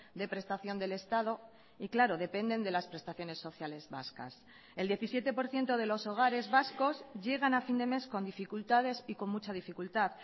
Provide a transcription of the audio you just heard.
de prestación del estado y claro dependen de las prestaciones sociales vascas el diecisiete por ciento de los hogares vascos llegan a fin de mes con dificultades y con mucha dificultad